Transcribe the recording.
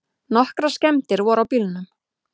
Nokkrar skemmdir voru á bílnum.